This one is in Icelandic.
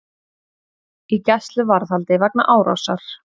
Í gæsluvarðhaldi vegna árásar